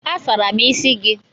A sara m isi gị.